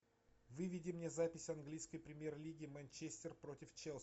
выведи мне запись английской премьер лиги манчестер против челси